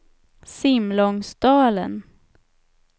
Simlångsdalen